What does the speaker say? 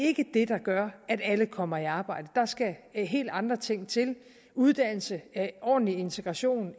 ikke det der gør at alle kommer i arbejde der skal helt andre ting til uddannelse ordentlig integration